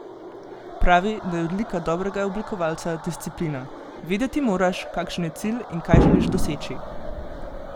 Pravi, da je odlika dobrega oblikovalca disciplina: "Vedeti moraš, kakšen je cilj in kaj želiš doseči.